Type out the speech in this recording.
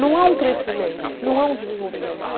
Não há um crescimento, não há um desenvolvimento.